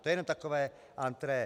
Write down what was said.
To je jenom takové entrée.